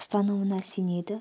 ұстанымына сенеді